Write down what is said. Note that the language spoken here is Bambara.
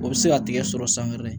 O bɛ se ka tigɛ sɔrɔ sanfɛ